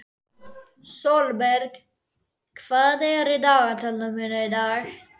Sólberg, hvað er í dagatalinu mínu í dag?